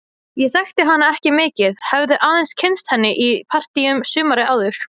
Ég þekkti hana ekki mikið, hafði aðeins kynnst henni í partíum sumarið áður.